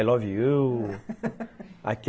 I love you